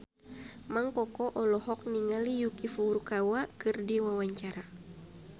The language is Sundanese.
Mang Koko olohok ningali Yuki Furukawa keur diwawancara